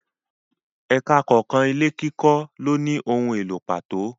Ẹka kọ̀ọ̀kan ilé kíkọ lóni ohun èlò pàtó.